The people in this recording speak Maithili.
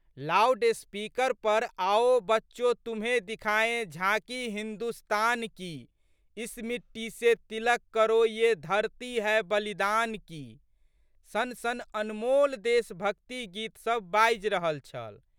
लाउड स्पीकर पर आओ बच्चो तुम्हें दिखाएँ झाँकी हिन्दुस्तान की, इस मिट्टी से तिलक करो ये धरती है बलिदान की" सनसन अनमोल देशभक्ति गीतसब बाजि रहल छल।